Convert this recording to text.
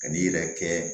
Ka n'i yɛrɛ kɛ